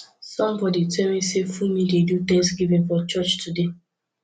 somebody tell me say funmi dey do thanksgiving for church today